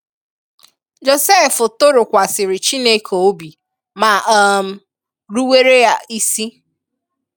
Jọsef tụrụkwasịrị Chineke ọ̀bị̀, ma um rụ̀were a isi.